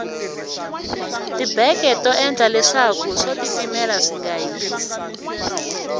tibeke to endla leswaku swo titimela swinga hisi